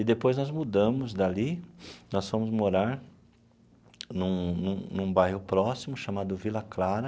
E depois nós mudamos dali, nós fomos morar num num num bairro próximo chamado Vila Clara.